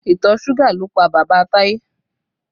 Ìtọ̀ suga ló pa bàbá Taye